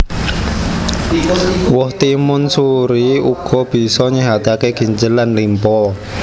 Woh timun suri uga bisa nyéhataké ginjel lan limpa